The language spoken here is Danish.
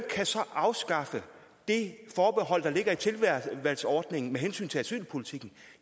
afskaffe det forbehold der ligger i tilvalgsordningen med hensyn til asylpolitikken